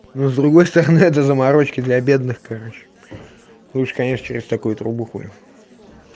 но с другой стороны это заморочки для бедных короче лучше конечно через такую трубу хули